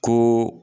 Ko